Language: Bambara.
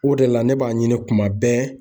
O de la ne b'a ɲini kuma bɛɛ